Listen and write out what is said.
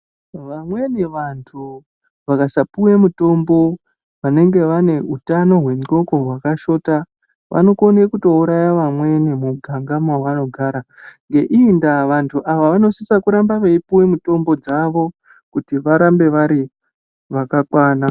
Vamweni vantu vakasapuwe mutombo vanenge vane utano hwendxondo hwakashota vanokone kutouraya vamweni muganga mavanogara ngeiyi ndaa vanhu ava vanosisa kuramba veipuwa mitombo dzavo kuti varambe vari zvakakwana.